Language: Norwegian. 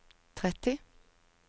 tretti